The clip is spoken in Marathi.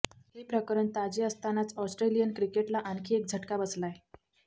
हे प्रकरण ताजे असतानाच ऑस्ट्रेलियन क्रिकेटला आणखी एक झटका बसलाय